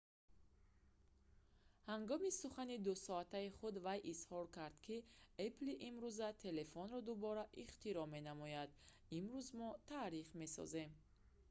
ҳангоми сухани 2-соатаи худ вай изҳор кард ки «apple-и имрӯза телефонро дубора ихтироъ менамояд имрӯз мо таърих месозем